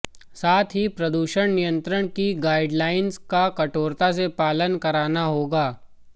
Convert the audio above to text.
साथ ही प्रदूषण नियंत्रण की गाइडलाइंस का कठोरता से पालन कराना होगा